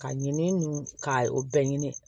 Ka ɲini ka o bɛɛ ɲini